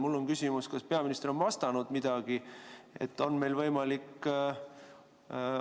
Mul on küsimus, kas peaminister on midagi vastanud.